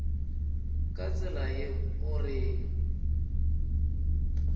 ka tsela ye o reng